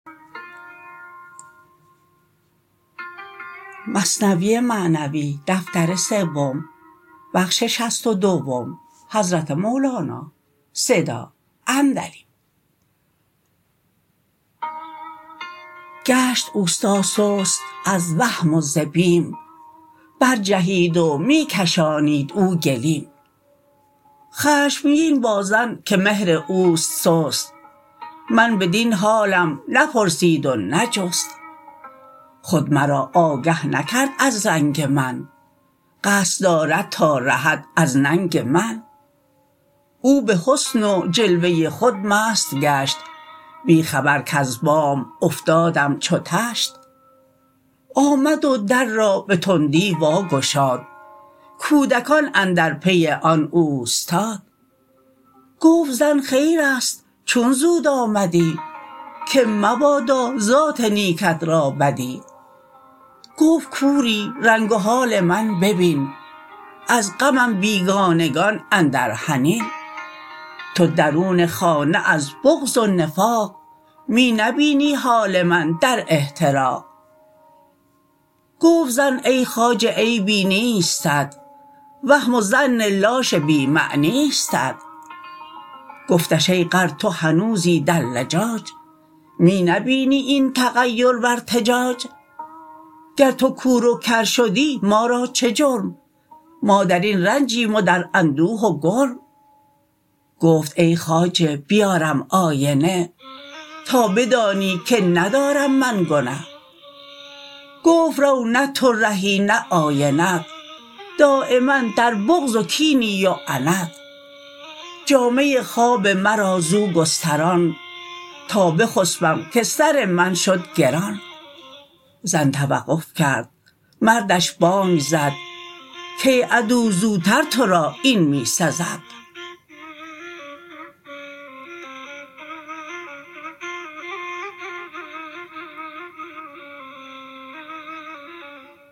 گشت استا سست از وهم و ز بیم بر جهید و می کشانید او گلیم خشمگین با زن که مهر اوست سست من بدین حالم نپرسید و نجست خود مرا آگه نکرد از رنگ من قصد دارد تا رهد از ننگ من او به حسن و جلوه خود مست گشت بی خبر کز بام افتادم چو طشت آمد و در را به تندی وا گشاد کودکان اندر پی آن اوستاد گفت زن خیرست چون زود آمدی که مبادا ذات نیکت را بدی گفت کوری رنگ و حال من ببین از غمم بیگانگان اندر حنین تو درون خانه از بغض و نفاق می نبینی حال من در احتراق گفت زن ای خواجه عیبی نیستت وهم و ظن لاش بی معنیستت گفتش ای غر تو هنوزی در لجاج می نبینی این تغیر و ارتجاج گر تو کور و کر شدی ما را چه جرم ما درین رنجیم و در اندوه و گرم گفت ای خواجه بیارم آینه تا بدانی که ندارم من گنه گفت رو مه تو رهی مه آینت دایما در بغض و کینی و عنت جامه خواب مرا زو گستران تا بخسپم که سر من شد گران زن توقف کرد مردش بانگ زد کای عدو زوتر تو را این می سزد